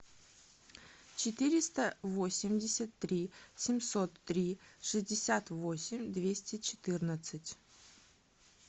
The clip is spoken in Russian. четыреста восемьдесят три семьсот три шестьдесят восемь двести четырнадцать